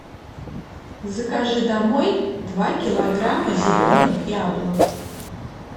закажи домой два килограмма зеленых яблок